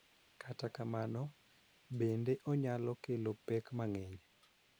Kata kamano, bende onyalo kelo pek mang�eny,